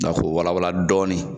Dɔnk'o wala wala dɔɔni